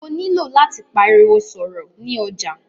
Mó nilò láti pariwo sọ̀rọ̀ ni ọjà.